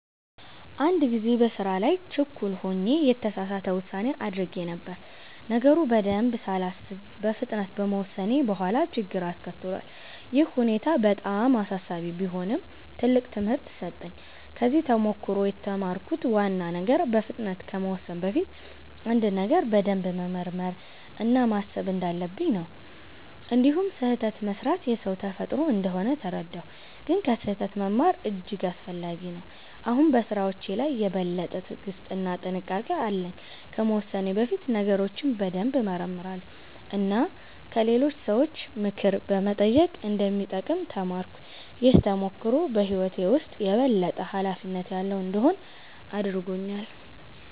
አንድ ጊዜ በስራ ላይ ችኩል ሆኜ የተሳሳት ውሳኔ አድርጌ ነበር። ነገሩን በደንብ ሳላስብ በፍጥነት በመወሰኔ በኋላ ችግር አስከትሏል። ይህ ሁኔታ በጣም አሳሳቢ ቢሆንም ትልቅ ትምህርት ሰጠኝ። ከዚህ ተሞክሮ የተማርኩት ዋና ነገር በፍጥነት ከመወሰን በፊት አንድን ነገር በደንብ መመርመር እና ማሰብ እንዳለብኝ ነው። እንዲሁም ስህተት መስራት የሰው ተፈጥሮ እንደሆነ ተረዳሁ፣ ግን ከስህተት መማር እጅግ አስፈላጊ ነው። አሁን በስራዎቼ ላይ የበለጠ ትዕግስት እና ጥንቃቄ አለኝ። ከመወሰኔ በፊት ነገሮችን በደንብ እመረምራለሁ እና ከሌሎች ሰዎች ምክር መጠየቅ እንደሚጠቅም ተማርኩ። ይህ ተሞክሮ በህይወቴ ውስጥ የበለጠ ኃላፊነት ያለው እንድሆን አድርጎኛል።